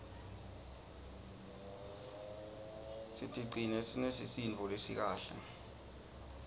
sicigcine sinesisindvo lesikahle